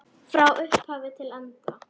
Frá upphafi til enda.